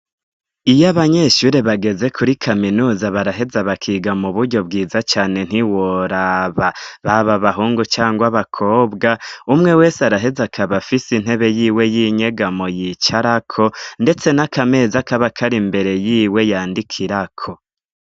Iyo abanyeshure bageze kuri kaminuza, baraheze bakiga mu buryo bwiza cane ntiworaba, baba abahungu canke abakobwa umwe wese araheze akaba afise intebe yiwe y'inyegamo yicarako ndetse n'akameza kaba kari imbere yiwe yandikirako.